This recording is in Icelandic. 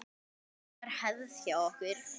Það var hefð hjá okkur.